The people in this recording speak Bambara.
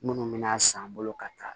Minnu bɛna san bolo ka taa